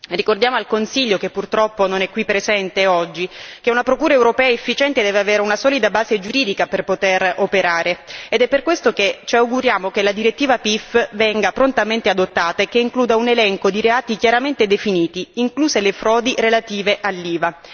Ricordiamo al Consiglio, che purtroppo non è qui presente oggi, che una Procura europea efficiente deve avere una solida base giuridica per poter operare, ed è per questo che ci auguriamo che la direttiva PIF venga prontamente adottata e includa un elenco di reati chiaramente definiti, incluse le frodi relative all'IVA.